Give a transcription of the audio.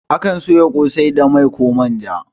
Akan soya ƙosai ne da mai koh manja